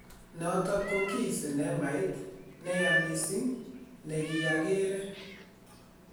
notok ko kiy sinemait ne yaa mising' ne kiyagere